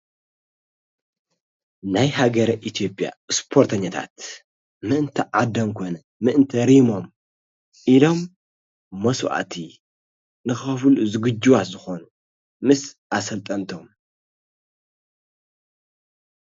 ናይ ሃገረ ኢትዮጵያ እስፖርተኛታት ምእንቲ ዓደምንነ ምእንቲ ሪሞም ኢሎም መሥውዕቲ ንኸፉል ዝግጅዋት ዝኾኑ ምስ ኣሰልጠንተም።